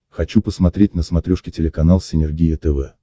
хочу посмотреть на смотрешке телеканал синергия тв